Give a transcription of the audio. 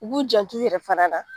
U k'u jantu yɛrɛ fana na.